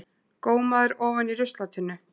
Gómaður ofan í ruslatunnu!